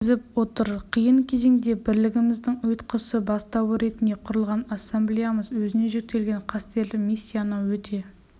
жеткізіп отыр қиын кезеңде бірлігіміздің ұйытқысы бастауы ретінде құрылған ассамблеямыз өзіне жүктелген қастерлі мисияны өте